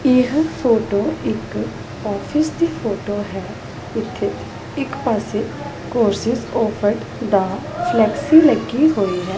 ਇਹ ਫੋਟੋ ਇਕ ਆਫਿਸ ਦੀ ਫੋਟੋ ਹੈ ਜਿੱਥੇ ਇਕ ਪਾਸੇ ਕੋਰਸਸ ਆਫਰਡ ਦਾ ਫਲੈਕਸੀ ਲੱਗੀ ਹੋਈ ਹੈ।